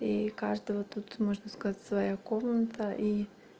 и каждого тут можно сказать своя комната и